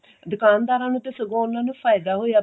ਦੁਕਾਨਦਾਰਾਂ ਨੂੰ ਤਾਂ ਸਗੋਂ ਉਹਨਾ ਨੂੰ ਤਾਂ ਫਾਇਦਾ ਹੋਇਆ